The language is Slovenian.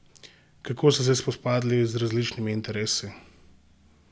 Kako ste se spopadli z različnimi interesi?